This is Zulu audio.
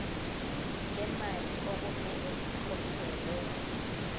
lemali okumele ikhokhelwe